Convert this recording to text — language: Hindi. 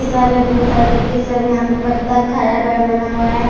इस जगह पे बहुत सारा गिट्टी सब यहाँ पर बतक हरा-भरा बना हुआ है|